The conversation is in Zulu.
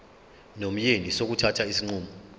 nomyeni sokuthatha isinqumo